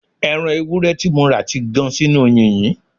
Ẹ̀ran ewúrẹ́ tí mo rà ti gan sínú yìnyín